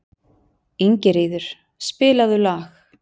Ingiríður, spilaðu lag.